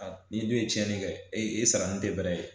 ni ne ye tiɲɛni kɛ e ye e sara ni tɛmɛrɛ ye